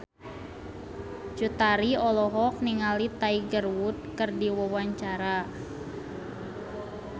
Cut Tari olohok ningali Tiger Wood keur diwawancara